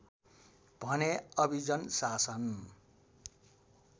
भने अभिजन शासन